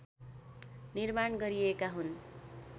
निर्माण गरिएका हुन्